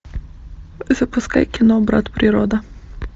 запускай кино брат природа